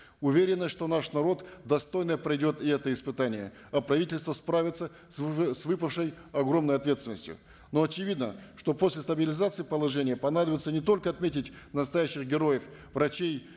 уверены что наш народ достойно пройдет и это испытание а правительство справится с с выпавшей огромной ответственностью но очевидно что после стабилизации положения понадобится не только отметить настоящих героев врачей